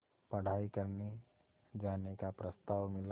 पढ़ाई करने जाने का प्रस्ताव मिला